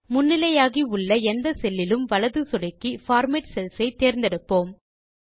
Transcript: முன்னிலையாகி உள்ள எந்த செல்லிலும் வலது சொடுக்கி பார்மேட் செல்ஸ் ஐ தேர்ந்தெடுப்போம்